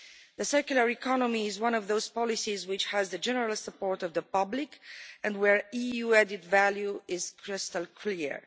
The circular economy is one of those policies which has the general support of the public and where EU added value is crystal clear.